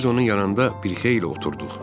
Biz onun yanında bir xeyli oturduq.